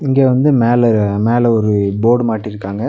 இங்க வந்து மேல மேல ஒரு போர்டு மாட்டிருக்காங்க.